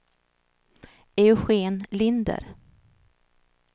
Eugen Linder